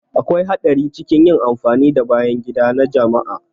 Akwai haɗari cikin yin amfani da bayan gida na jama'a.